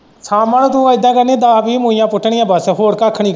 ਸ਼ਾਮਾਂ ਨੂੰ ਤੂੰ ਇੱਦਾ ਕਰਨੀਆਂ ਦੱਸ-ਵੀਹ ਪੁੱਟਣੀਆਂ ਬਸ ਹੋਰ ਕੱਖ ਨੀ।